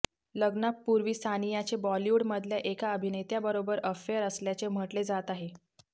लग्नापूर्वी सानियाचे बॉलीवूडमधल्या एका अभिनेत्याबरोबर अफेअर असल्याचे म्हटले जात आहे